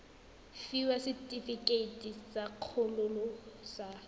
fiwa setefikeiti sa kgololo sa